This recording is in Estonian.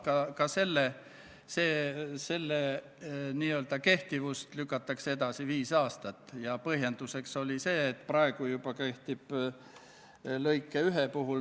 Antud sõnavõtus väljendas meie fraktsiooni liige Ruuben Kaalep oma isiklikku seisukohta selle Mali operatsiooniga seoses.